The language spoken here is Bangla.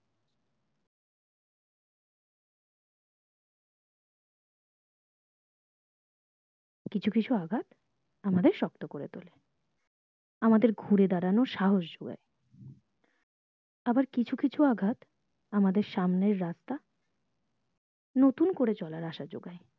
কিছু কিছু আঘাত আমাদের শক্ত করে তোলে আমাদের ঘুরে দাঁড়ানোর সাহস যোগায় আবার কিছু কিছু আঘাত আমাদের সামনের রাস্তা নতুন করে নতুন করে চলার আশা যোগায়